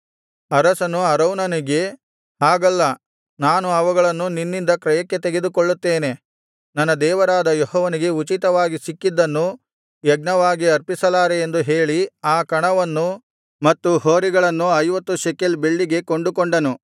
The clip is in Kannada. ಅರಸನು ಅರೌನನಿಗೆ ಹಾಗಲ್ಲ ನಾನು ಅವುಗಳನ್ನು ನಿನ್ನಿಂದ ಕ್ರಯಕ್ಕೆ ತೆಗೆದುಕೊಳ್ಳುತ್ತೇನೆ ನನ್ನ ದೇವರಾದ ಯೆಹೋವನಿಗೆ ಉಚಿತವಾಗಿ ಸಿಕ್ಕಿದ್ದನ್ನು ಯಜ್ಞವಾಗಿ ಅರ್ಪಿಸಲಾರೆ ಎಂದು ಹೇಳಿ ಆ ಕಣವನ್ನೂ ಮತ್ತು ಹೋರಿಗಳನ್ನೂ ಐವತ್ತು ಶೆಕಲ್ ಬೆಳ್ಳಿಗೆ ಕೊಂಡುಕೊಂಡನು